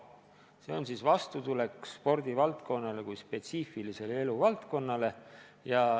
See on siis vastutulek spordivaldkonnale kui spetsiifilisele eluvaldkonnale.